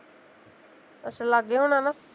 ਅੱਛਾ ਲਾਗੇ ਹੁਣਾ ਨਾ